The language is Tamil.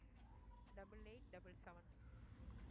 double eight double seven